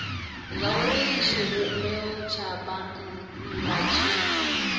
zwauri tshivhumbeo tsha bannga tshi